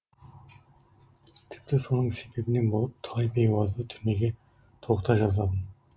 тіпті соның себебінен болып талай бейуазды түрмеге тоғыта жаздадым